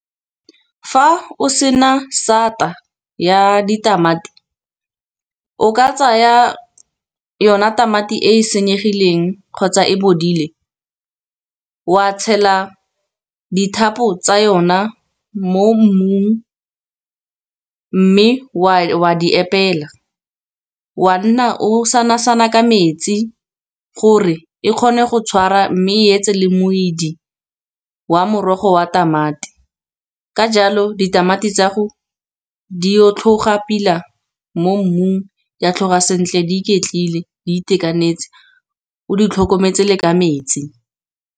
Fa o sena sata ya ditamati o ka tsaya yona tamati e e senyegileng, kgotsa e bodile wa tshela dithapo tsa yona mo mmung. Mme wa di epela wa nna o sanasana ka metsi gore e kgone go tshwara, mme e etse le moidi wa morogo wa tamati. Ka jalo ditamati tsago di o tlhoga pila mo mmung, di a tlhoga sentle di iketlile, di itekanetse o di tlhokometse le ka metsi.